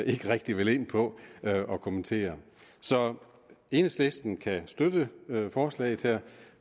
ikke rigtig ville ind på at kommentere så enhedslisten kan støtte forslaget her